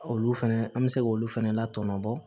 Olu fɛnɛ an mi se k'olu fɛnɛ latɔn bɔ